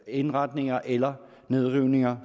indretninger eller nedrivninger